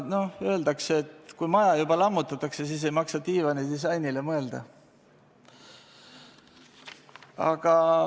Öeldakse ju, et kui maja juba lammutatakse, ei maksa diivani disainile mõelda.